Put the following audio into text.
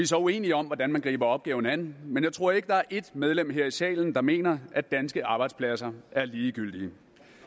så uenige om hvordan man griber opgaven an men jeg tror ikke der er ét medlem her i salen der mener at danske arbejdspladser er ligegyldige